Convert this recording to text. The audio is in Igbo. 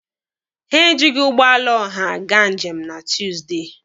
Ha ejighi ụgbọala ọha gaa njem na Tuusdey.